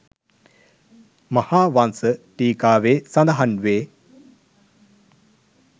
මහාවංස ටීකාවේ සඳහන් වේ.